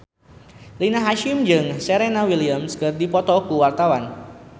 Rina Hasyim jeung Serena Williams keur dipoto ku wartawan